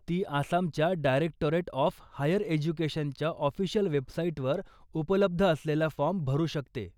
ती आसामच्या directorate of higher एज्युकेशनच्या ऑफिशियल वेबसाईटवर उपलब्ध असलेला फॉर्म भरू शकते.